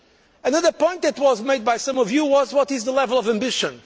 Another point which was made by some of you was what is the level of ambition?